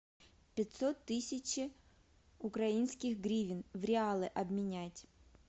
пятьсот тысяч украинских гривен в реалы обменять